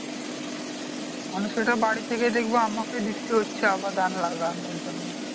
মানে সেটা বাড়ী থেকে দেখবো আমাকেই দেখতে হচ্ছে আবার ধান লাগানোর জন্য